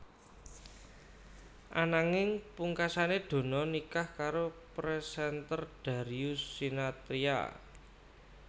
Ananging pungkasané Donna nikah karo presenter Darius Sinathrya